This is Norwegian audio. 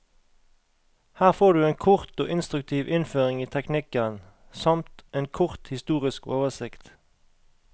Her får du en kort og instruktiv innføring i teknikken, samt en kort historisk oversikt.